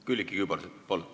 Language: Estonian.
Külliki Kübarsepp, palun!